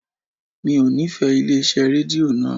Mi ò nífẹ̀ẹ́ ilé iṣẹ́ rédíò naa